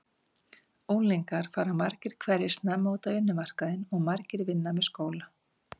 Unglingar fara margir hverjir snemma út á vinnumarkaðinn og margir vinna með skóla.